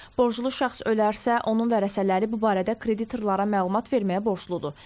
Borclu şəxs ölərsə, onun vərəsələri bu barədə kreditorlara məlumat verməyə borcludur.